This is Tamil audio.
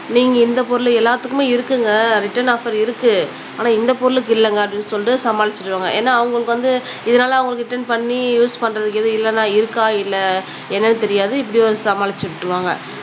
நீங்க இந்த பொருள் எல்லாத்துக்குமே இருக்குங்க ரிட்டன் ஆஃப்ஃபர் இருக்கு ஆனா இந்த பொருளுக்கு இல்லங்க அப்படினு சொல்லிட்டு சமாளிச்சுருவாங்க ஏனா அவங்களுக்கு வந்து இதுனால அவங்க ரிட்டன் பண்ணி யூஸ் பண்றதுக்கு எதுவும் இல்லனா இருக்கா இல்ல என்னனு தெரியாது இப்படி ஒரு சமாளிச்சு விட்டுருவாங்க